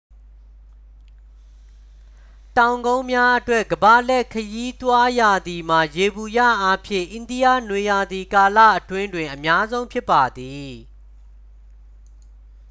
တောင်ကုန်းများအတွက် ကမ္ဘာလှည့်ခရီးသွားရာသီမှာ ယေဘုယျအားဖြင့် အိန္ဒိယနွေရာသီကာလအတွင်းတွင် အများဆုံးဖြစ်ပါသည်